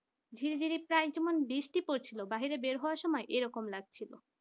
ঝিরিঝিরি প্রায় যেমন বৃষ্টি পড়ছিল বাইরে বের হওয়ার সময় এরকম লাগছিল।